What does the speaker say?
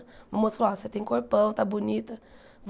Um moço falou, ah, você tem corpão, está bonita.